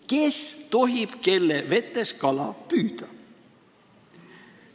Kes tohib kelle vetes kala püüda?